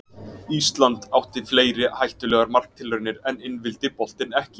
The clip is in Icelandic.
Ísland átti fleiri hættulegar marktilraunir en inn vildi boltinn ekki.